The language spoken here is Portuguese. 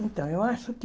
Então, eu acho que